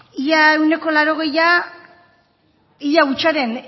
ia ehuneko laurogeita hamara ia hutsaren